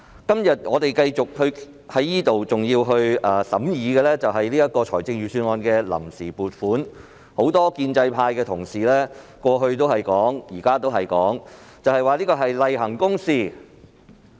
今天我們繼續在此審議財政預算案的臨時撥款決議案，而很多建制派同事在過去及現在均形容這是例行公事。